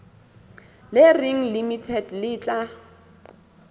le reng limited le tla